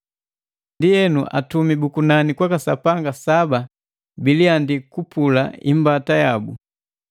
Ndienu, atumi bu kunani kwa Sapanga saba biliandi kupula imbata yabu.